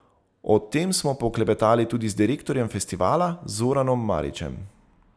O tem smo poklepetali tudi z direktorjem festivala Zoranom Marićem.